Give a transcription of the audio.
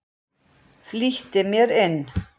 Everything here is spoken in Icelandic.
Flýtti mér inn.